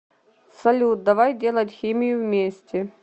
салют давай делать химию вместе